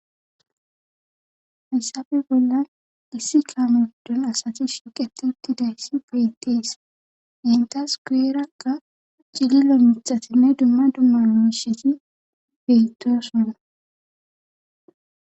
hayssappe bollan issi kaame gidon asati shuqetetti dayssi beyttees intas kuyerakka cililo mixatinne dumma dumma misheti bettosona